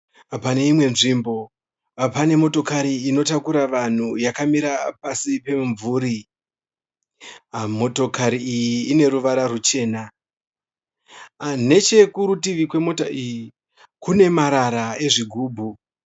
Pane imwe nzvimbo pane motokari inotakura vanhu yakamira pasi pomumvuri. Motokari iyi ine ruwara ruchena. Nechekurutivi kwemota iyi kune marara ezvigubhu.